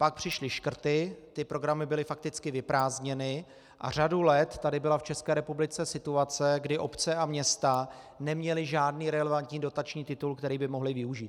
Pak přišly škrty, ty programy byly fakticky vyprázdněny a řadu let tady byla v České republice situace, kdy obce a města neměly žádný relevantní dotační titul, který by mohly využít.